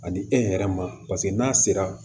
Ani e hɛrɛ ma paseke n'a sera